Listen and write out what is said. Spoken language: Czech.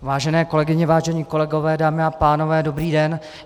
Vážené kolegyně, vážení kolegové, dámy a pánové, dobrý den.